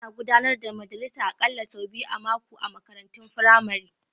Ana gudanar da majalisa aƙalla sau biyu a mako a makarantun firamare.